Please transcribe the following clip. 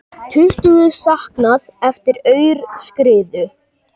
Tuttugu saknað eftir aurskriðu